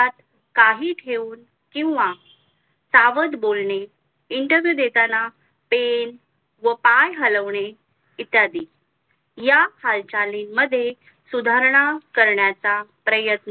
काही ठेऊन किंवा सावध बोलणे interviwe देताना pen व पण हलवणे इत्यादी या हालचालींमध्ये सुधारणा करण्याचा प्रयत्न